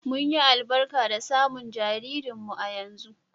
Mun yi albarka da samun jaririnmu a yanzu.